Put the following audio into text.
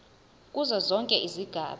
kuzo zonke izigaba